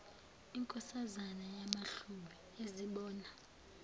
inkosazana yamahlubi azibona